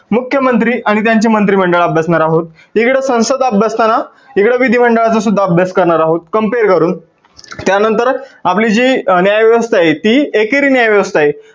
मुख्य मंत्री आणि त्यांचे मंत्री मंडळ अभ्यासणार आहोत. इकडे संसद अभ्यासताना तिकडे विधी मंडळाचा सुद्धा अभ्यास करणार आहोत compare करून, त्यानंतर आपली जी न्याय व्यवस्था आहे ती एकेरी न्याय व्यवस्था आहे.